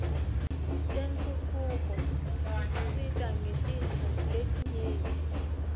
tentfutfuko tisisita ngetintfo letinyenti